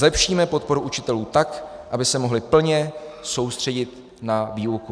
Zlepšíme podporu učitelů tak, aby se mohli plně soustředit na výuku.